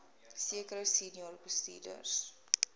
sekere senior bestuurders